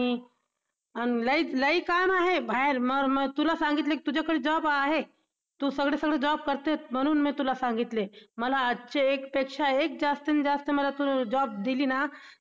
अश्याही खूप प्रश्न बालपणाला बालमनाला पडत पडत राहतो. पावसाळ्यात शाळेत जाणाऱ्या येणाऱ्यांचीही एक वेगळीच गंमत असते. शाळेत जायला कितीही उशीर झाला तरी शिक्षक शिक्षा करीत नाही